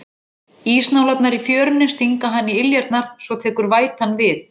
Ísnálarnar í fjörunni stinga hann í iljarnar, svo tekur vætan við.